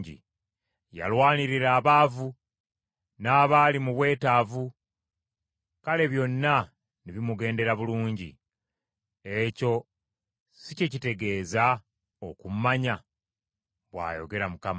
Yalwanirira abaavu n’abali mu bwetaavu kale byonna ne bimugendera bulungi. Ekyo si kye kitegeeza okummanya?” bw’ayogera Mukama .